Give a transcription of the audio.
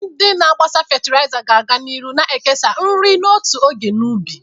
Ndị na-agbasa fatịlaịza ga-aga n'ihu na-ekesa nri n'otu oge na ubi.